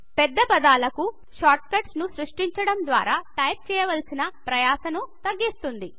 పెద్ద పదాల కు షార్ట్కట్స్ ను సృష్టించడం ద్వారా టైపు చేయాల్సిన ప్రయాసను తగ్గిస్తుంది